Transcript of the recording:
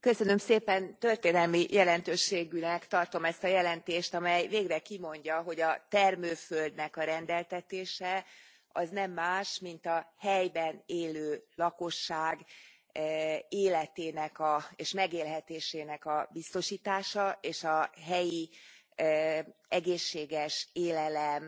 Elnök Úr, történelmi jelentőségűnek tartom ezt a jelentést, amely végre kimondja, hogy a termőföldnek a rendeltetése az nem más, mint a helyben élő lakosság életének és megélhetésének a biztosítása, és a helyi egészséges élelem